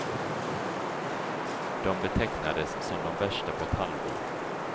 De betecknades som de värsta på ett halvår.